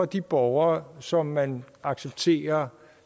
de borgere som man accepterer